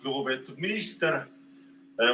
Lugupeetud minister!